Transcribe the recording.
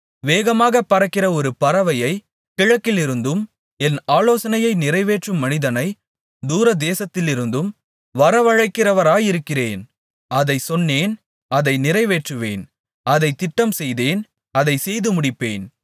வேகமாக பறக்கிற ஒரு பறவையைக் கிழக்கிலிருந்தும் என் ஆலோசனையை நிறைவேற்றும் மனிதனை தூரதேசத்திலிருந்தும் வரவழைக்கிறவராயிருக்கிறேன் அதைச் சொன்னேன் அதை நிறைவேற்றுவேன் அதைத் திட்டம்செய்தேன் அதைச் செய்துமுடிப்பேன்